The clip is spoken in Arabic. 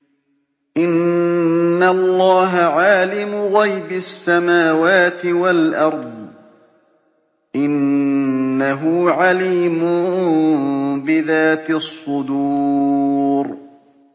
إِنَّ اللَّهَ عَالِمُ غَيْبِ السَّمَاوَاتِ وَالْأَرْضِ ۚ إِنَّهُ عَلِيمٌ بِذَاتِ الصُّدُورِ